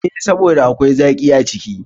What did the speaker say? E, saboda akwai zaƙi a ciki.